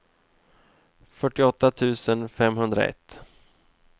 fyrtioåtta tusen femhundraett